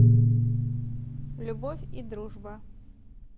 любовь и дружба